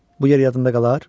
Bu yer yadında qalar?